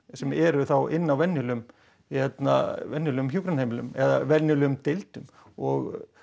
sem eru þá inni á venjulegum venjulegum hjúkrunarheimilum eða venjulegum deildum og